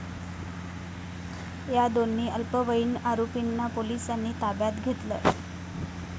या दोन्ही अल्पवयीन आरोपींना पोलिसांनी ताब्यात घेतलंय.